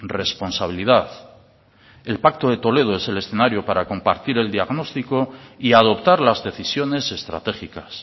responsabilidad el pacto de toledo es el escenario para compartir el diagnóstico y adoptar las decisiones estratégicas